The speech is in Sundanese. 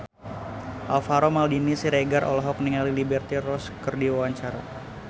Alvaro Maldini Siregar olohok ningali Liberty Ross keur diwawancara